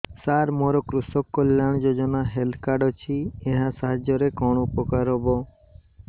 ସାର ମୋର କୃଷକ କଲ୍ୟାଣ ଯୋଜନା ହେଲ୍ଥ କାର୍ଡ ଅଛି ଏହା ସାହାଯ୍ୟ ରେ କଣ ଉପକାର ହବ